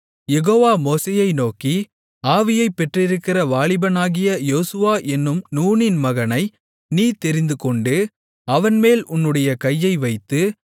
யெகோவா மோசேயை நோக்கி ஆவியைப் பெற்றிருக்கிற வாலிபனாகிய யோசுவா என்னும் நூனின் மகனை நீ தெரிந்துகொண்டு அவன்மேல் உன்னுடைய கையை வைத்து